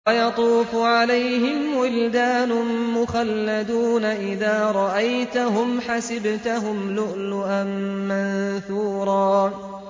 ۞ وَيَطُوفُ عَلَيْهِمْ وِلْدَانٌ مُّخَلَّدُونَ إِذَا رَأَيْتَهُمْ حَسِبْتَهُمْ لُؤْلُؤًا مَّنثُورًا